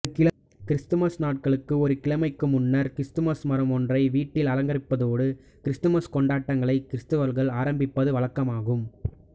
Christmas நாளுக்கு ஒரு கிழமைக்கு முன்னர் கிறிஸ்துமஸ் மரம் ஒன்றை வீட்டில் அலங்கரிப்பதோடு கிறிஸ்துமஸ் கொண்ட்டாங்களை கிறிஸ்தவர்கள் ஆரப்பிப்பது வழக்கமாகும்